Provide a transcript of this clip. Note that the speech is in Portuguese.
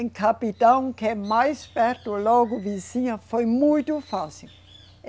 Em Capital, que é mais perto, logo vizinha, foi muito fácil.